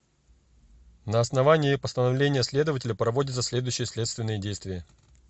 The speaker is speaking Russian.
на основании постановления следователя проводятся следующие следственные действия